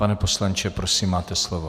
Pane poslanče, prosím, máte slovo.